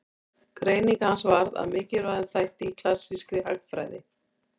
Greining hans varð að mikilvægum þætti í klassískri hagfræði.